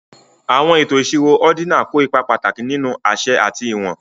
àwọn ètò ìṣirò ordinal kó ipa pàtàkì nínú àṣẹ àti ìwọ̀n